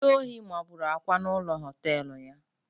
Ndi ohi mabụrụ Akwa na ụlọ họtelụ ya